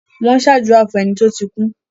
Wọ́n ṣàdúrà fún ẹni tó ti kú.